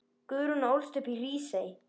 Guðrún ólst upp í Hrísey.